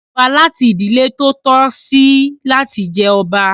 Wọn yan ọba láti ìdílé tó tọ́ sí láti jẹ ọba.